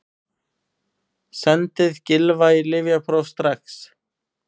Sendið Gylfa í lyfjapróf strax!